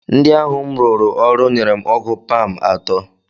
Ndị ahụ m rụụrụ ọrụ nyere m ọgụ paam atọ